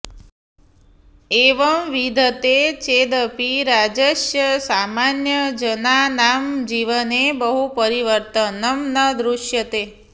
एवं विद्यते चेदपि राज्यस्य सामान्यजनानां जीवने बहु परिवर्तनं न दृश्यते